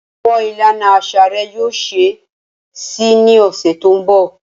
Awọn ilana aṣa rẹ yoo ṣee ṣe ni ọsẹ to nbọ.